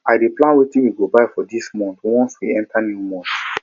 i dey plan wetin we go buy for di month once we enta new month